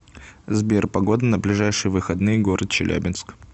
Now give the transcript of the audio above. сбер погода на ближайшие выходные город челябинск